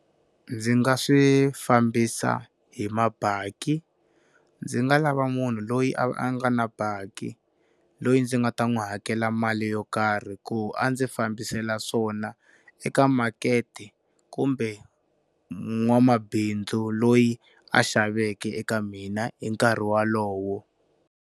Ndzi nga swi fambisa hi mabaki ndzi nga lava munhu loyi a nga na bakkie, loyi ndzi nga ta n'wi hakela mali yo karhi ku a ndzi fambiselo swona eka makete kumbe n'wamabindzu loyi a xaveke eka mina hi nkarhi wolowo.